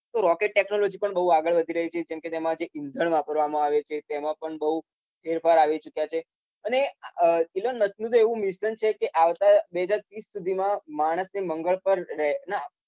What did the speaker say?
તો rocket technology પણ ખુબ આગળ વધી રહી છે. જેમાં ઈંધણ વાપરવામાં આવે છે. તેમાં પણ બઉ ફેરફાર આવી ચુક્યા છે. એલન મસ્કનુ તો એવુ મિશન છે કે આવતા બે હજાર ત્રીસ સુધીમાં માણસે મંગળ પર રહેવાના